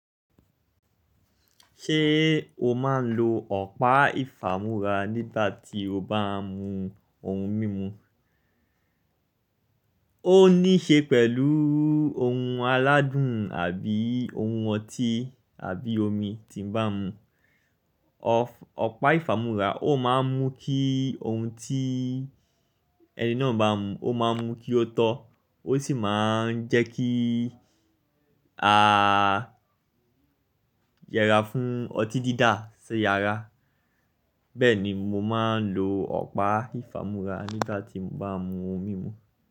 Ṣé o máa ń lo ọ̀pá ìfamúra nígbà tí o bá ń mu ohun mímu? Ó níí ṣe pẹ̀lú ohun aládùn àbí ohun ọtí àbí omi tí mo bá ń mu. Ọ̀pá ìfamúra ó máa ń mú kí ohun tí ẹni náà bá ń mu, ó máa ń mú kí ó tọ́, ó sì má ń jẹ́ kí a yẹra fún ọtí dídá sí yara. Bẹ́ẹ̀ ni mo máa ń lo ọ̀pá ìfamúra nígbà tí mo bá ń mu ohun mímu.